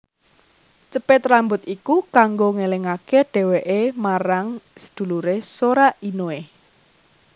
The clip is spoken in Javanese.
Cepit rambut iku kanggo ngelingake dheweke marang sedulure Sora Inoe